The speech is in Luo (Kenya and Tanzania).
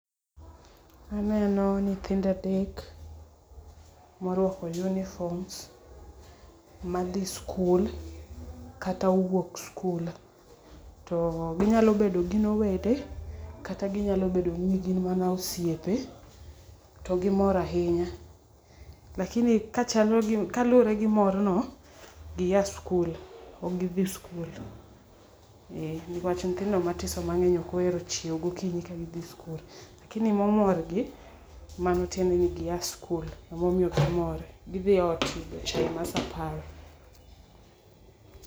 Anenno nyithindo adek morwako uniform ma dhi skul kata wuok skul ,to gi nyalo bedo gin owede to ginyalo bedo ni gin mana osiepe to gi mor ahinya. Lakini kaluore gi mor no to gi ya skul ok gi dhi skul ni wach nyithindo matindo ok ohero chiewo gokinyi ka dhi skul, lakini ma omor gi mano tiende ni gi ya skul ema omiyo gi mor gi dhi ot yudo chai mar saa apar